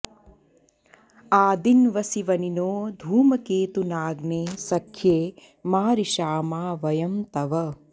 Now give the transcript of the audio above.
आदि॑न्वसि व॒निनो॑ धू॒मके॑तु॒नाग्ने॑ स॒ख्ये मा रि॑षामा व॒यं तव॑